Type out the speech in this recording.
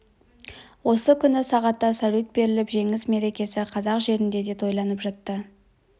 осы күні сағатта салют беріліп жеңіс мерекесі қазақ жерінде де тойланып жатты